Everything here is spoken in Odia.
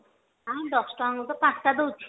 ଆଁ ଦଶ ଟଙ୍କା କୁ ତ ପାଞ୍ଚଟା ଦଉଛି